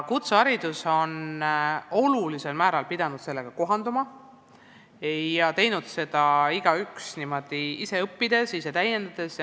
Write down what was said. Kutseharidus on olulisel määral pidanud sellega kohanduma ja teinud seda niimoodi, et igaüks on ise õppinud ja ennast täiendanud.